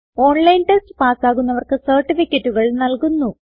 online test പാസ്സാകുന്നവർക്ക് സർട്ടിഫികറ്റുകൾ നല്കുന്നു